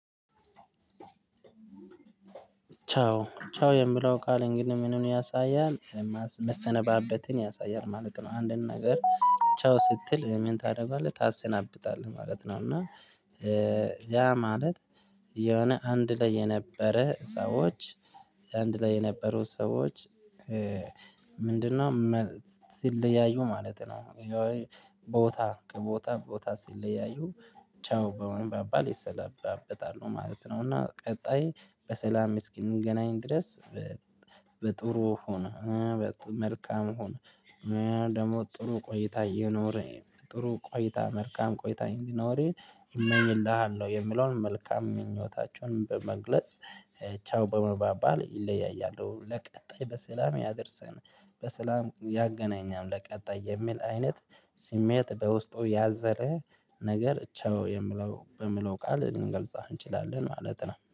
ቻው ቻው የምለው ቃል እንግዲህ ምኑን ያሳያል መሰነባበትን ያሳያል ማለት ነው። አንድን ነገር ቻው ስትል ምን ታደርጋለህ ታሰናብታለህ ማለት ነው። እና። ያ ማለት የሆነ አንድ ላይ የነበረ ሰዎች አንድ ላይ የነበሩ ሰዎች። ምንድነው ሲለያዩ ማለት ነው። ቦታ ከቦታ ቦታ ሲለያዩ ቻው በመባባል ይሰለባበታሉ ማለት ነው። እና ቀጣይ በሰላም እስኪ እንገናኝ ድረስ። በጥሩ ሆኖ መልካም ሆን ደግሞ ጥሩ ቆይታ ይኑርህ ጥሩ ቆይታ መልካም ቆይታ እንዲኖርህ እመኝልሃለሁ የሚለውን መልካም ምኞታቸውን በመግለጽ። ቻው በመባባል ይለያያሉ። ለቀጣይ በሰላም ያደርሰን በሰላም ያገናኘን ለቀጣይ የሚል አይነት ስሜት በውስጡ ያዘለ ነገር ቻው የምለው በሚለው ቃል ልንገልጽ አንችላለን ማለት ነው